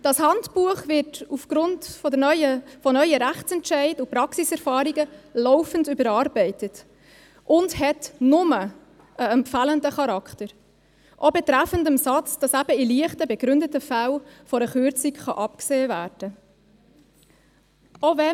Dieses Handbuch wird aufgrund von neuen Rechtsentscheiden und Praxiserfahrungen laufend überarbeitet und hat empfehlenden Charakter, auch betreffend den Satz, dass eben in leichten, begründeten Fällen von einer Kürzung abgesehen werden kann.